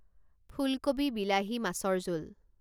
ফুলকবি বিলাহী মাছৰ জোল